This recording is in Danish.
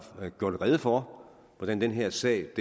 gjort rede for hvordan den her sag